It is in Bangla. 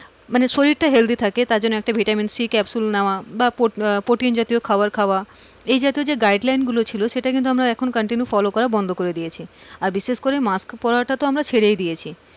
মানে শরীরটা হেলদি থাকে তার জন্য আর একটা ভিটামিন সি ক্যাপসুল নেওয়া বা প্রোটিন জাতীয় খাবার খাওয়া এই জাতীয় যে guide line গুলো ছিল সেটা কিন্তু আমরা continue follow করা বন্ধ করে দিয়েছি। বিশেষ করে মাস্ক পড়ার টা তো আমরা ছেড়েই দিয়েছি।